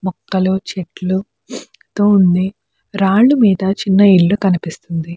మొక్కలు చెట్లు తో ఉంది రాళ్లమీద చిన్న ఇల్లు కనిపిస్తుంది.